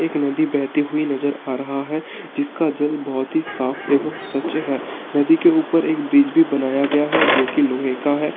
एक नदी बहती हुई नजर आ रहा है जिसका जल बोहोत ही साफ़ एवं स्वच्छ है नदी के ऊपर एक ब्रिज भी बनाया गया है जोकि लोहे का है।